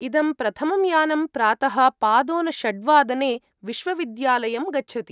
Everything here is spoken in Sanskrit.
इदं प्रथमं यानं प्रातः पादोनषड्वादने विश्वविद्यालयं गच्छति।